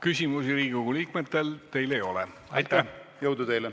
Küsimusi Riigikogu liikmetel teile ei ole.